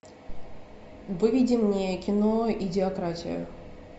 выведи мне кино идиократия